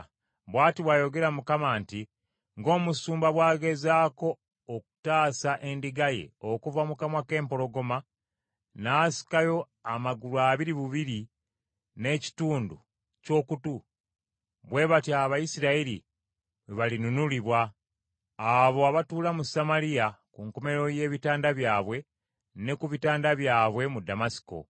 Bw’ati bw’ayogera Mukama nti, “Ng’omusumba bw’agezaako okutaasa endiga ye okuva mu kamwa k’empologoma n’asikayo amagulu abiri obubiri n’ekitundu ky’okutu, bwe batyo Abayisirayiri bwe balinunulibwa, abo abatuula mu Samaliya ku nkomerero y’ebitanda byabwe ne ku bitanda byabwe mu Ddamasiko.